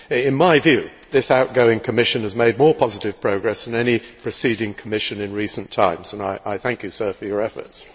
In my view, this outgoing Commission has made more positive progress than any preceding Commission in recent times and I thank him for his efforts.